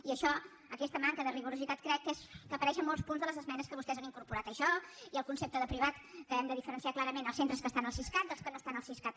i això aquesta manca de rigor crec que apareix en molts punts de les esmenes que vostès han incorporat això i el concepte de privat que hem de diferenciar clarament els centres que estan al siscat dels que no estan al siscat